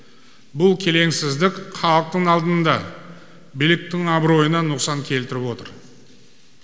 бұл келеңсіздік халықтың алдында биліктің абыройына нұқсан келтіріп отыр